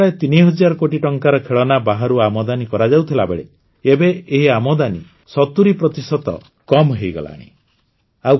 ଆଗରୁ ପ୍ରାୟ ତିନିହଜାର କୋଟି ଟଙ୍କାର ଖେଳନା ବାହାରୁ ଆମଦାନୀ କରାଯାଉଥିବାବେଳେ ଏବେ ଏହି ଆମଦାନୀ ସତୁରୀ ପ୍ରତିଶତ କମ୍ ହୋଇଗଲାଣି